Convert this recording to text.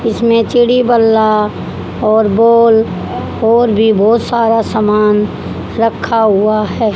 इसमें चिड़ि बल्ला और बॉल और भी बहोत सारा सामान रखा हुआ है।